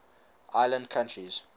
island countries